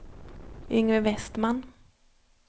Yngve Vestman